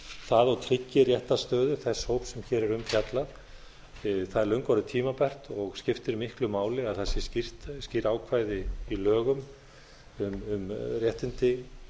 það og tryggi réttarstöðu þess hóps sem hér er um fjallað það er löngu orðið tímabært og skiptir miklu máli að það séu skýr ákvæði í lögum um réttindi